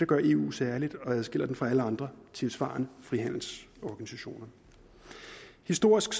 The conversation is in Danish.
gør eu særligt og adskiller det fra alle andre tilsvarende frihandelsorganisationer historisk